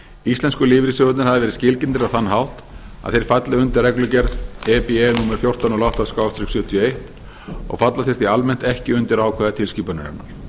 íslensku lífeyrissjóðirnir hafa verið skilgreindir á þann hátt að þeir falli undir reglugerð e b e númer fjórtán hundruð og átta sjötíu og eins og falla þeir því almennt ekki undir ákvæði tilskipunarinnar